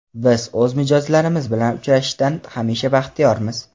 Biz o‘z mijozlarimiz bilan uchrashishdan hamisha baxtiyormiz.